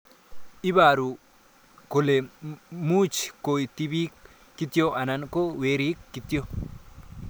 Iparu kole much ko tipik kityo anan ko werik kityo